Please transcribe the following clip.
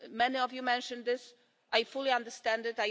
Many of you mentioned this, and I fully understand it.